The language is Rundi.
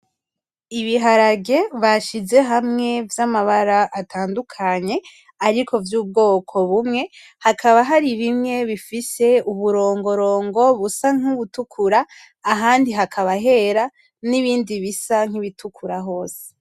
Ibiharage bashize hamwe vy'amabara atandukanye, ariko vy'ubwoko bumwe, hakaba hari bimwe bifise uburongorongo busa nk'ubutukura, ahandi hakaba hera n'ibindi bisa nk'ibitukura hose.